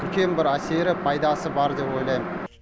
үлкен бір әсері пайдасы бар деп ойлаймын